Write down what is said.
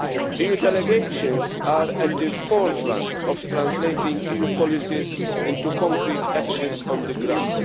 EU delegations are at the forefront of translating EU policies into concrete actions on the ground.